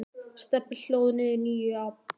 Stebbi hlóð niður nýju appi.